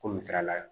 Komi ala ye